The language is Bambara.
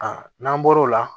n'an bɔr'o la